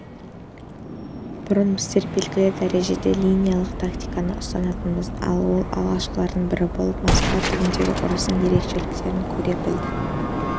бұрын біздер белгілі дәрежеде линиялық тактиканы ұстанатынбыз ал ол алғашқылардың бірі болып москва түбіндегі ұрыстардың ерекшеліктерін көре білді